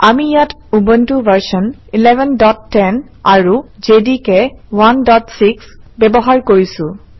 আমি ইয়াত Ubuntu version 1110 আৰু জেডিকে 16 ব্যৱহাৰ কৰিছোঁ